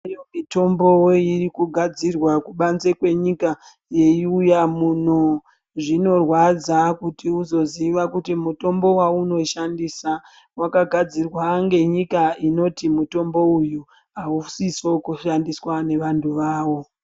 Iriyowo mitombo iri kugadzirwa kubanze kwenyika yeiuya muno. Zvinorwadza kuti uzoziya kuti mutombo waunoshandisa wakagadzirwa ngenyika unoti mutombo uyu hausiso kushandiswa ngevantu vawo.